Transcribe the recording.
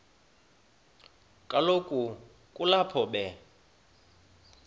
kaloku kulapho be